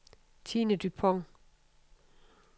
Tine Dupont